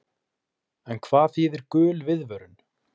En hvað þýðir gul viðvörun?